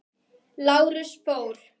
Lárus fór.